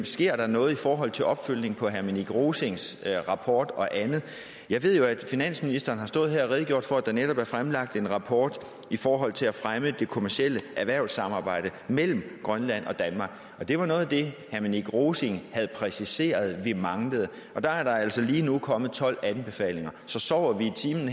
sker noget i forhold til opfølgning på herre minik rosings rapport og andet jeg ved jo at finansministeren har stået her og redegjort for at der netop er fremlagt en rapport i forhold til at fremme det kommercielle erhvervssamarbejde mellem grønland og danmark det var noget af det herre minik rosing havde præciseret at vi manglede og der er der altså lige nu kommet tolv anbefalinger så sover vi i timen